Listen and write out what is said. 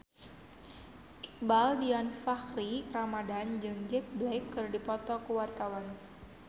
Iqbaal Dhiafakhri Ramadhan jeung Jack Black keur dipoto ku wartawan